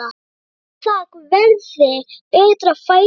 Bíða verði betra færis.